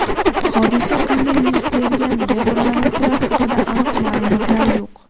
Hodisa qanday yuz bergani, jabrlanuvchilar haqida aniq ma’lumotlar yo‘q.